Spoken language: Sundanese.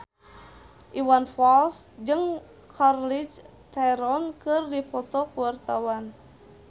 Iwan Fals jeung Charlize Theron keur dipoto ku wartawan